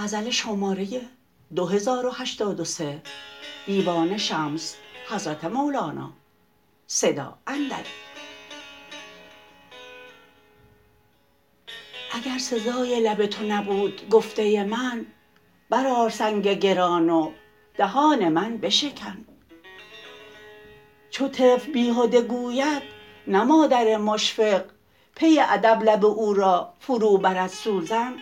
اگر سزای لب تو نبود گفته من برآر سنگ گران و دهان من بشکن چو طفل بیهده گوید نه مادر مشفق پی ادب لب او را فروبرد سوزن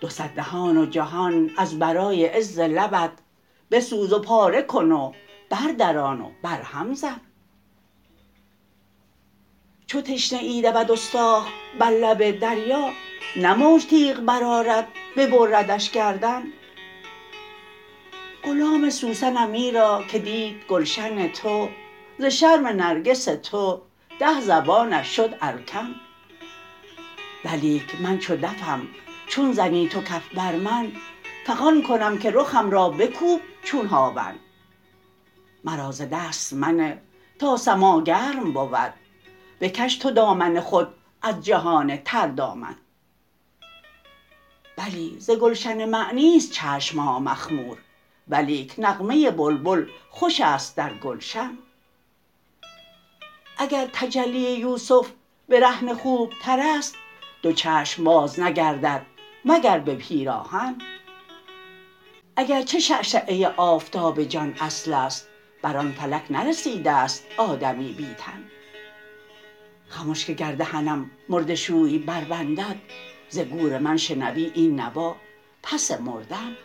دو صد دهان و جهان از برای عز لبت بسوز و پاره کن و بردران و برهم زن چو تشنه ای دود استاخ بر لب دریا نه موج تیغ برآرد ببردش گردن غلام سوسنم ایرا که دید گلشن تو ز شرم نرگس تو ده زبانش شد الکن ولیک من چو دفم چون زنی تو کف بر من فغان کنم که رخم را بکوب چون هاون مرا ز دست منه تا سماع گرم بود بکش تو دامن خود از جهان تردامن بلی ز گلشن معنی است چشم ها مخمور ولیک نغمه بلبل خوش است در گلشن اگر تجلی یوسف برهنه خوبتر است دو چشم باز نگردد مگر به پیراهن اگر چه شعشعه آفتاب جان اصل است بر آن فلک نرسیده ست آدمی بی تن خمش که گر دهنم مرده شوی بربندد ز گور من شنوی این نوا پس مردن